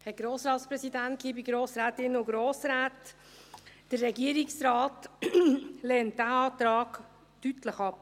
Der Regierungsrat lehnt diesen Antrag deutlich ab.